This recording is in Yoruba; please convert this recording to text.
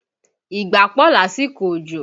Ìgbá pọ̀ lásìkò òjò